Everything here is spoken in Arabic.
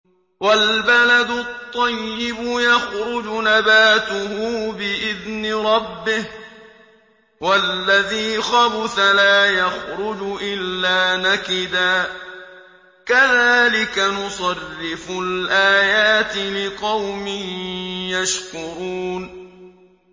وَالْبَلَدُ الطَّيِّبُ يَخْرُجُ نَبَاتُهُ بِإِذْنِ رَبِّهِ ۖ وَالَّذِي خَبُثَ لَا يَخْرُجُ إِلَّا نَكِدًا ۚ كَذَٰلِكَ نُصَرِّفُ الْآيَاتِ لِقَوْمٍ يَشْكُرُونَ